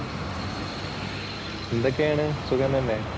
എന്തൊക്കെയാണ്? സുഖം തന്നെ?